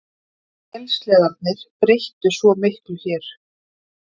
Vélsleðarnir breyttu svo miklu hér.